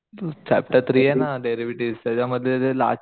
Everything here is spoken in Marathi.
चॅप्टर थ्री ना डेरिव्हेटीव्ह त्याच्यामधले जे लास्टचे